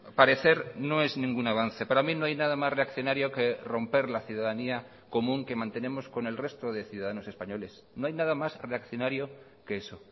parecer no es ningún avance para mí no hay nada más reaccionario que romper la ciudadanía común que mantenemos con el resto de ciudadanos españoles no hay nada más reaccionario que eso